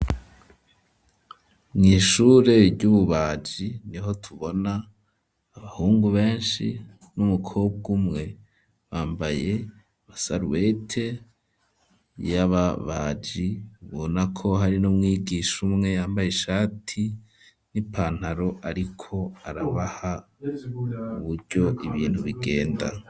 Mw'ishure ry'ububaji, niho tubona abahungu benshi n'umukobwa umwe, bambaye amasarubete y'ababaji, ubona ko hari n'umwigisha umwe, yambaye ishati n'ipantaro, ariko arabaha uburyo ibintu bigenda.